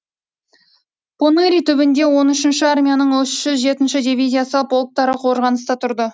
поныри түбінде он үшінші армияның жеті жүз жетінші дивизиясы полктары қорғаныста тұрды